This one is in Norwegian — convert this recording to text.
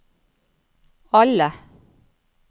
alle